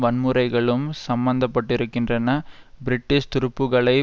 வன்முறைகளும் சம்மந்தப்பட்டிருக்கின்றன பிரிட்டிஷ் துருப்புக்களை